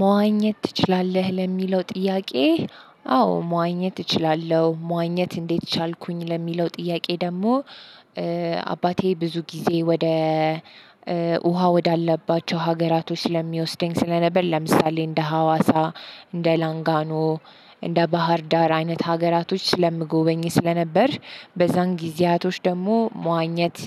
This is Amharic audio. መዋኘት ትችላለህ? ለሚለው ጥያቄ አዎ መዋኘት እችላለሁ መዋኘት እንዴት ቻልኩኝ ለሚለው ጥያቄ ደግሞ። አባቴ ብዙ ጊዜ ወደ ውሃ ወዳለባቸው ሀገራቶች ስለሚወስደኝ ስለነበር ለምሳሌ እንደ ሀዋሳ እንደ ላንጋኖ እንደ ባህር ዳር አይነት ሀገራቶች ስለምጎበኝ ስለነበር። በዛን ጊዜያቶች ደግሞ መዋኘት